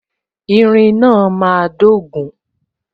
Irin náà máa dogun